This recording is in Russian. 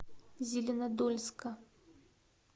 зеленодольска